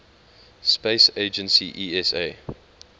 space agency esa